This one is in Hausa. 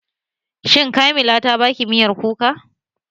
Shin Kamila ta baki miyar kuka?